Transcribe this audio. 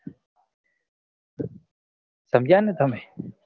સમજ્યા ને તમે